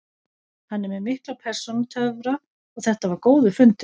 Hann er með mikla persónutöfra og þetta var góður fundur.